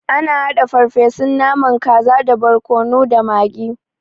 Ana haɗa farfesun naman kaza da borkono da magi.